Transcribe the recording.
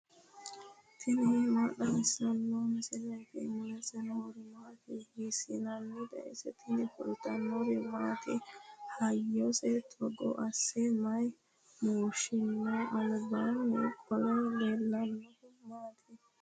tini maa xawissanno misileeti ? mulese noori maati ? hiissinannite ise ? tini kultannori maati? Hayiiso togo asse mayi mooshinno? alibbanni qole leelanohu maati?